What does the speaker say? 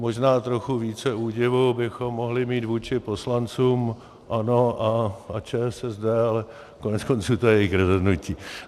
Možná trochu více údivu bychom mohli mít vůči poslancům ANO a ČSSD, ale koneckonců to je jejich rozhodnutí.